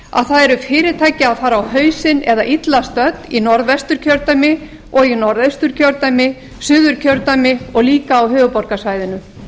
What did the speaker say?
að það eru fyrirtæki að fara á hausinn eða illa stödd í norðvesturkjördæmi og í norðausturkjördæmi suðurkjördæmi og líka á höfuðborgarsvæðinu